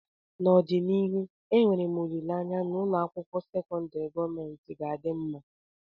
n'ọdịnihu enwere m olileanya na ụlọ akwụkwọ sekọndrị gọọmentị ga-adị mma